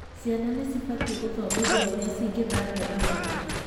Ciana nĩ cibatie gũthomithio ũrĩa cingĩthambia magego mao